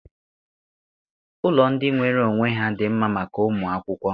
Ụlọ ndị nwere onwe ha dị mma maka ụmụ akwụkwọ.